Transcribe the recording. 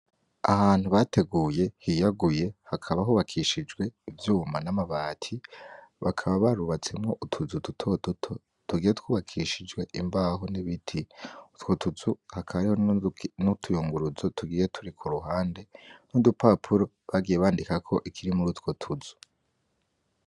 Ahantu bateguye hiyaguye hakaba hubakishijwe ivyuma n'amabati, bakaba barubatsemwo utuzu duto duto tugiye twubakishijwe imbaho n'ibiti, utwo tuzu hakaba hari n'utuyunguruzo turi kuruhande n'udupapuro bagiye bandikako ikiri mur'utwo tuzu.